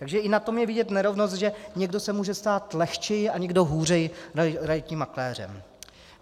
Takže i na tom je vidět nerovnost, že někdo se může stát lehčeji a někdo hůře realitním makléřem.